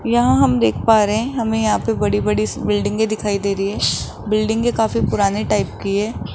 यहां हम देख पा रहे हैं हमें यहां पे बड़ी बड़ी बिल्डिंगे दिखाई दे रही है बिल्डिंगे कुछ पुराने टाइप की है।